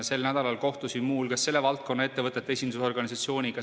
Sel nädalal kohtusin muu hulgas selle valdkonna ettevõtete esindusorganisatsiooniga.